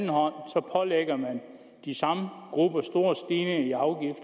de ser